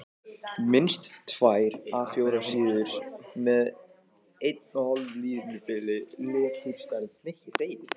Minnst tvær A 4 síður með 1½ línubili, leturstærð